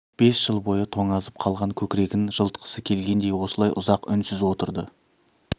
бес жыл бойы тоңазып қалған көкірегін жылытқысы келгендей осылай ұзақ үнсіз отырды